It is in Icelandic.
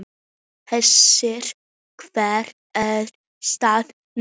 Hersir, hver er staðan núna?